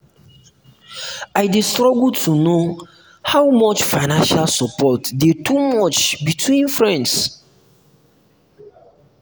i dey struggle to um know how um much financial support dey too um much between friends.